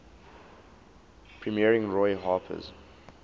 premiering roy harper's